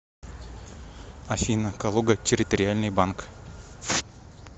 афина калуга территориальный банк